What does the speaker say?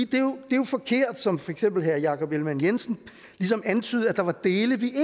det er jo jo forkert som for eksempel herre jakob ellemann jensen ligesom antydede at der var dele vi